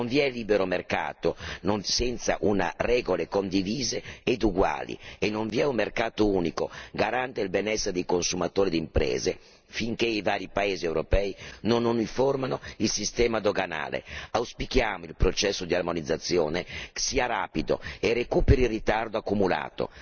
Non vi è libero mercato senza regole condivise e uguali e non vi è un mercato unico garante del benessere dei consumatori e delle imprese finché i vari paesi europei non uniformano il sistema doganale. Auspichiamo che il processo di armonizzazione sia rapido e recuperi il ritardo accumulato.